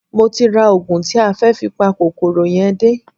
Mo ti ra oògùn tí a fẹ́ fi pa kòkòrò yẹn dé